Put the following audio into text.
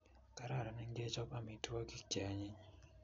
Kararan ingechab amitwakik che anyinyn